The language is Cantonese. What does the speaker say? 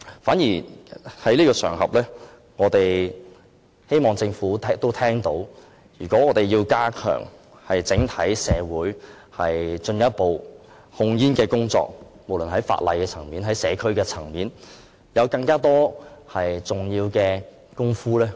趁此機會，我們希望政府明白，如果我們要在整體社會加強進一步的控煙工作，無論在法例或社區層面上，都有很多重要工作。